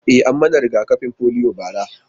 E, an yi mani riga-kafin polio bara.